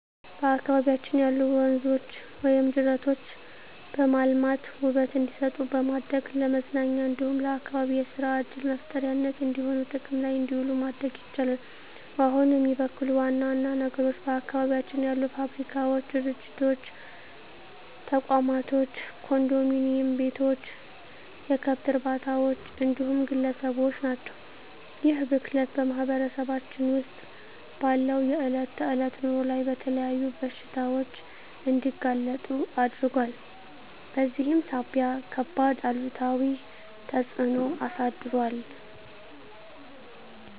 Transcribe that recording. በአካባቢያችን ያሉ ወንዞች ወይም ጅረቶችን በማልማት ውበት እንዲሰጡ በማድረግ ለመዝናኛ እንዲሁም ለአካባቢ የሰራ ዕድል መፍጠሪያነት እንዲሆኑ ጥቅም ላይ እንዲውሉ ማድረግ ይቻላል። ውሃውን የሚበክሉ ዋና ዋና ነገሮች በአካባቢያችን ያሉ ፋብሪካዎች፣ ድርጅቶች፣ ተቋማቶች፣ ኮንዶሚኒዬም ቤቶች፣ የከብት እርባታዎች እንዲሁም ግለሰቦች ናቸው። ይህ ብክለት በማህበረሰባችን ውስጥ ባለው የዕለት ተዕለት ኑሮ ላይ ለተለያዩ በሽታዎች እንዲጋለጡ አድርጓል በዚህም ሳቢያ ከባድ አሉታዊ ተፅዕኖ አሳድሯል።